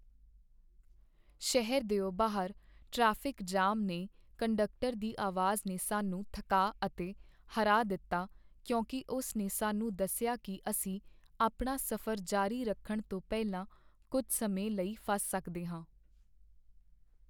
ਸ਼ਹਿਰ ਦਿਓ ਬਾਹਰ ਟ੍ਰੈਫਿਕ ਜਾਮ ਨੇ ਕੰਡਕਟਰ ਦੀ ਆਵਾਜ਼ ਨੇ ਸਾਨੂੰ ਥੱਕਾ ਅਤੇ ਹਰਾ ਦਿੱਤਾ ਕਿਉਂਕਿ ਉਸ ਨੇ ਸਾਨੂੰ ਦੱਸਿਆ ਕੀ ਅਸੀਂ ਆਪਣਾ ਸਫ਼ਰ ਜਾਰੀ ਰੱਖਣ ਤੋਂ ਪਹਿਲਾਂ ਕੁੱਝ ਸਮੇਂ ਲਈ ਫਸ ਸਕਦੇ ਹਾਂ।